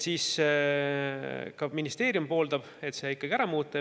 Ka ministeerium pooldab ikkagi selle muutmist.